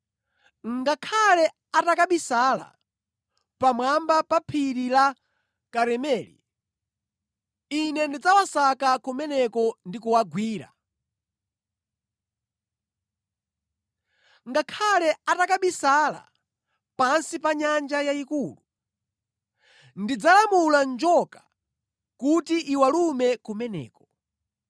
Ngakhale atakabisala pamwamba pa phiri la Karimeli, Ine ndidzawasaka kumeneko ndi kuwagwira. Ngakhale atakabisala pansi pa nyanja yayikulu, ndidzalamula njoka kuti iwalume kumeneko.